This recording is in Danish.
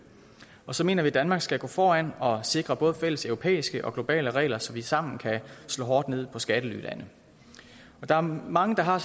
så mener vi at danmark skal gå foran og sikre både fælleseuropæiske og globale regler så vi sammen kan slå hårdt ned på skattelylande der er mange der har